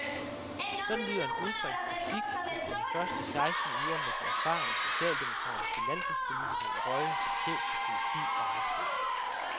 Sådan lyder en udbredt kritik efter de første seksten uger med den erfarne, socialdemokratiske landbrugspolitiker i rollen som chef for politi og retsvæsen.